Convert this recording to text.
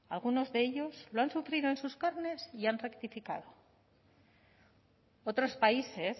algunos de ellos lo han sufrido en sus carnes y han rectificado otros países